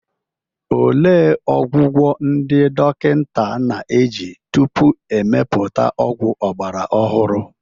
Olee ọgwụgwọ ndị dọkịta na-eji tupu e mepụta ọgwụ ọgbara ọhụrụ?